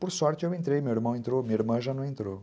Por sorte eu entrei, meu irmão entrou, minha irmã já não entrou.